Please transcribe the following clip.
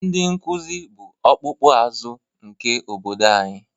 Ndị nkuzi bụ ọkpụkpụ azụ nke obodo anyị